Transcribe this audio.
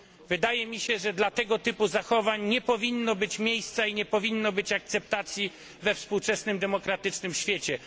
Wydaje mi się, że dla tego typu zachowań nie powinno być miejsca i nie powinno być akceptacji we współczesnym demokratycznym świecie.